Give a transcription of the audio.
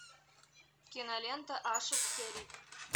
кинолента ашик кериб